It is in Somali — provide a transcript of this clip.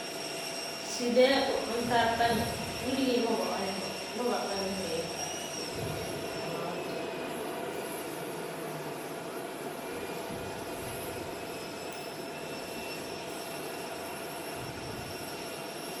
Sidee u cuntaa tan, waligey mawacunin boo, mawaagani wuxu yoxoo xaata, waxan cuuna xort.